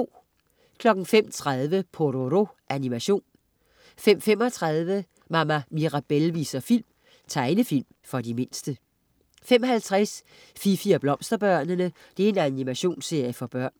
05.30 Pororo. Animation 05.35 Mama Mirabelle viser film. Tegnefilm for de mindste 05.50 Fifi og Blomsterbørnene. Animationsserie for børn